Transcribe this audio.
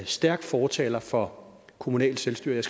stærk fortaler for kommunalt selvstyre jeg